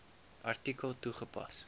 artikel toegepas